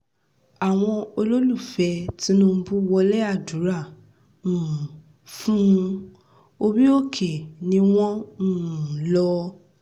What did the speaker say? àwọn olólùfẹ́ tinubu wọlé àdúrà um fún un orí-òkè ni wọ́n um lò